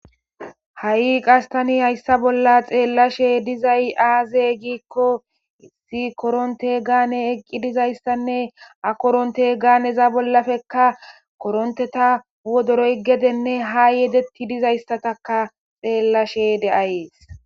Ha qastani hayssa bolla xeellashe dizay aaze giikko issi koronte gaane eqqi dizayssanne ha koronte gaaneza bollappekka koronteta wodoroy gedenne ha yedetti dizayssataka xeellashe de'ayees.